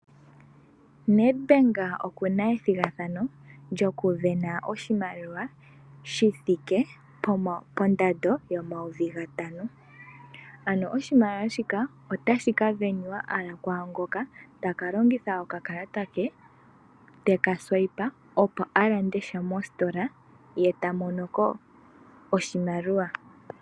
NedBank okuna ethigathano lyokusindana oshimaliwa shithike pondando N$5000. Oshimaliwa shika otashi kasindanwa owala kwaangoka takalongitha okakalata ke , teka Swipe opo alande sha mositola, ye tamonoko oshimaliwa.